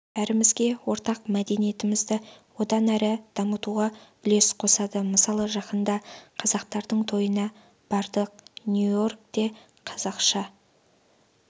бәрімізге ортақ мәдениетімізді одан әрі дамытуға үлес қосады мысалы жақында қазақтардың тойына бардық нью-йоркте қазақша